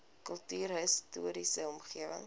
kultuurhis toriese omgewing